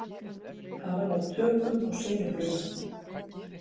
Hafa náð tökum á sinubruna